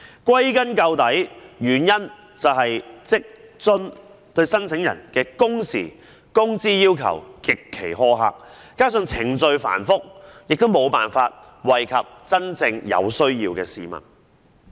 歸根究底，原因是職津計劃對申請人的工時和工資要求極其苛刻，加上程序繁複，無法惠及真正有需要的市民。